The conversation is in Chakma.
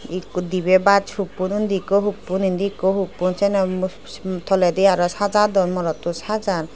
ikko dibey baas huppon undi ikko huppon indi ikko huppon siyeno mufs toledi aro sajadon morotto sajar.